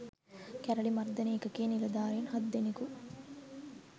කැරළි මර්දන ඒකකයේ නිලධාරීන් හත් දෙනකු